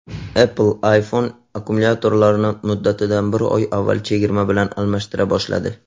Apple iPhone akkumulyatorlarini muddatidan bir oy avval chegirma bilan almashtira boshladi.